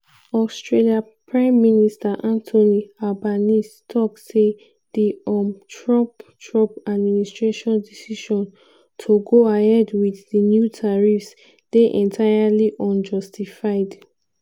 australia prime minister anthony albanese tok say di um trump trump administration decision to go ahead wit di new tariffs dey "entirely unjustified".